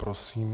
Prosím.